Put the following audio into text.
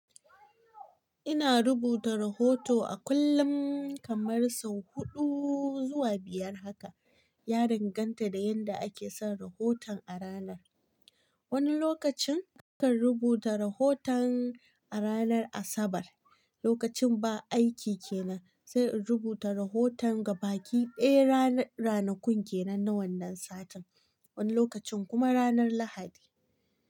Ina rubuta rahoto a kullum kaman sau huɗu zuwa biyar haka. Ya danganta da yanda ake son rahoton a ranar. Wani lokacin kakan rubuta rahoton a ranar Asabar, lokacin ba aiki kenan, sai in rubuta rahoton gabaki ɓe ranakun kenan na wannan satin, wani lokacin kuma ranar Lahadi.